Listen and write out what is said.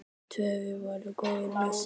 Tóti var góður með sig.